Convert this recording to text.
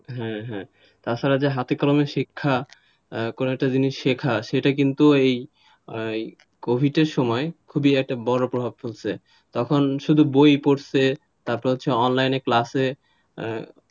হ্যাঁ হ্যাঁ তাছাড়া যে হাতে কলমে শিক্ষা করে একটা কিছু জিনিস শেখা সেটা কিন্তু এই কোভিডের সময় খুবই একটা বড় প্রভাব পেয়েছে তখন শুধু বই পড়ছে তারপর online class